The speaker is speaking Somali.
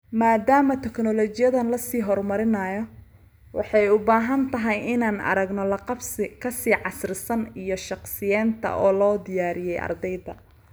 Maadaama teknoolojiyaddan la sii horumarinayo, waxay u badan tahay inaan aragno la qabsi ka sii casrisan iyo shaqsiyeynta oo loo diyaariyay ardayda.